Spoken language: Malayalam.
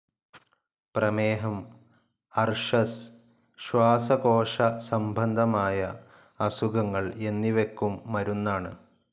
പ്രമേഹം, അർശസ്, ശ്വാസകോശസംബന്ധമായ അസുഖങ്ങൾ എന്നിവയ്ക്കും മരുന്നാണ്.